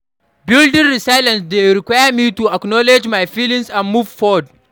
Building resilience dey require me to acknowledge my feelings and move forward.